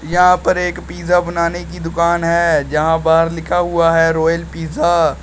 यहां पर एक पिज़्ज़ा बनाने की दुकान है जहां बाहर लिखा हुआ है रॉयल पिज़्ज़ा।